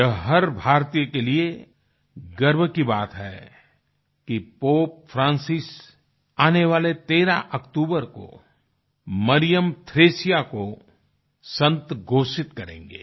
यह हर भारतीय के लिए गर्व की बात है कि पोप फ्रांसिस आने वाले 13 अक्टूबर को मरियम थ्रेसिया को संत घोषित करेंगे